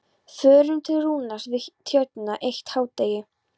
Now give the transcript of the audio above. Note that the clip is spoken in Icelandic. Fórum til Rúnars Við Tjörnina eitt hádegi.